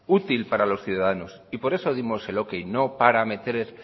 útil para los ciudadanos y por eso dimos el ok no para meter